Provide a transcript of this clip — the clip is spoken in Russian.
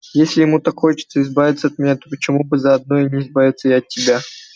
если ему так хочется избавиться от меня то почему бы заодно не избавиться и от тебя